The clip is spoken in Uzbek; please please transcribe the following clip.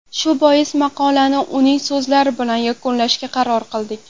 Shu bois, maqolani uning so‘zlari bilan yakunlashga qaror qildik.